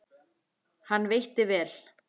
Hann veitti vel